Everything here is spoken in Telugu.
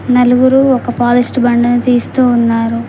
నలుగురు ఒక పాలిస్ట్ బండని తీస్తూ ఉన్నారు.